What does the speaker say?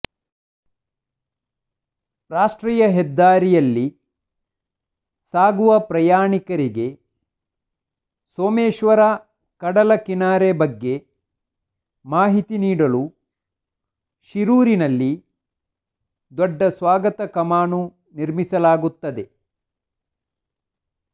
ರಾಷ್ಟ್ರೀಯ ಹೆದ್ದಾರಿಯಲ್ಲಿ ಸಾಗುವ ಪ್ರಯಾಣಿಕರಿಗೆ ಸೋಮೇಶ್ವರ ಕಡಲ ಕಿನಾರೆ ಬಗ್ಗೆ ಮಾಹಿತಿ ನೀಡಲು ಶಿರೂರಿನಲ್ಲಿ ದೊಡ್ಡ ಸ್ವಾಗತ ಕಮಾನು ನಿರ್ಮಿಸಲಾಗುತ್ತದೆ